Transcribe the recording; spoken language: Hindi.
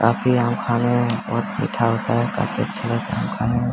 काफी आम खाने बहुत मीठा होता है काफी अच्छा लगता है आम खाने में।